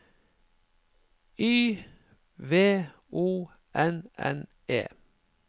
Y V O N N E